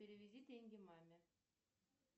переведи деньги маме